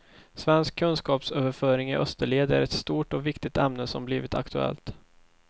Svensk kunskapsöverföring i österled är ett stort och viktigt ämne som blivit aktuellt.